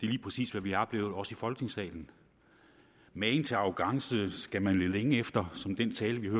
lige præcis hvad vi har oplevet også i folketingssalen magen til arrogance skal man lede længe efter som i den tale vi